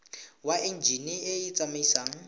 wa enjine e e tsamaisang